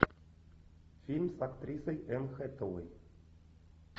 фильм с актрисой энн хэтэуэй